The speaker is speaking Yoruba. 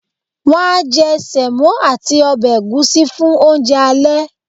won a je semo ati obe egusi fun ounje ale